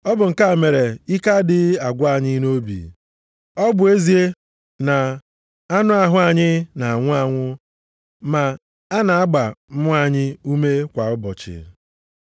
Ọ bụ nke a mere ike adịghị agwụ anyị nʼobi. Ọ bụ ezie na anụ ahụ anyị na-anwụ anwụ, ma a na-agba mmụọ anyị ume kwa ụbọchị.